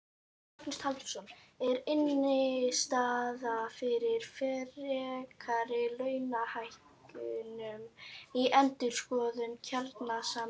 Magnús Halldórsson: Er innstaða fyrir frekari launahækkunum í endurskoðun kjarasamninga?